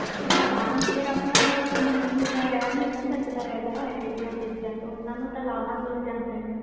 ਹਾਂ ਹਾਂ ਆਪਣਾ ਦੇਸ ਰਹਿ ਨਹੀਂ ਸਕਦਾ ਕਾਮਣ ਬਿਨਾ ਇਹੋ ਜਿਹੀਆਂ ਚੀਜ਼ਾਂ ਤੋਂ ਓਹਨਾ ਨੂੰ ਤੇ ਲਾਹਾ ਮਿਲ ਜਾਂਦਾ